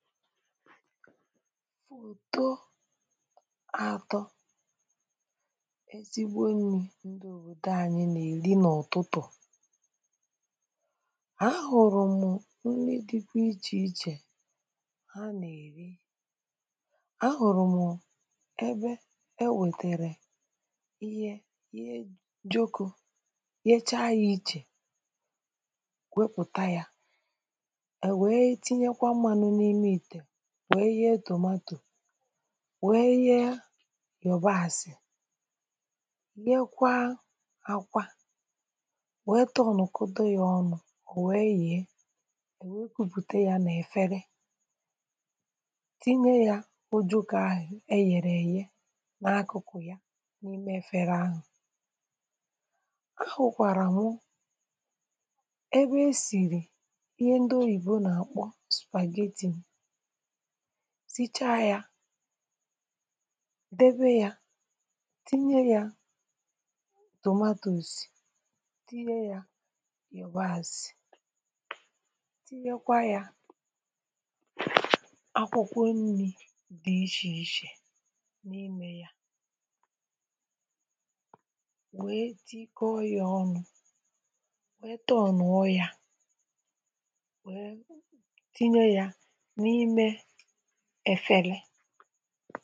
fùto atọ ezigbo nri̇ ndị òbòdo anyị nà-èri n’utụtụ̀ a hụ̀rụ̀ mụ nri dịkwa ichè ichè ha nà-èri. a hụ̀rụ̀ mụ ebe e wètèrè ihe ojokȯ yecha ya iche wepụta ya. Ọ nwé tinye kwá mmanụ n'ime ite wee ye tòmatò wee ye kwá yabasi wukwasi ya ihe akwa wèe tọọ̀nụ̀kụde yȧ ọnụ̇ò wee yi̇e.wee kuputa yȧ nà-efere tinye yȧ ojoko ahụ̀ e yèrè èye n’akụkụ̀ n’ime fere ahụ̀. ahụ̀kwàrà mụ ebe e sìrì ihe ndị oyìbo nà-àkpọ supagetti. Sicha ya debe ya tinye ya tomato, tinye ya yabasì tinyekwa ya akwụkwọ nri dị ichè ichè n’imė ya. wee di ikė ọọ̇ ọnụ̇ wee taa ọ̀nụ̀ọ ya wee tinye ya n'ime efèrè